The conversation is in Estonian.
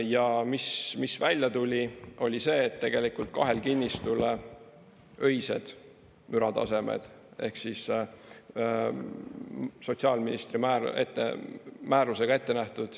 Ja mis välja tuli, oli see, et tegelikult kahel kinnistul öised müratasemed ehk siis sotsiaalministri määrusega ette nähtud …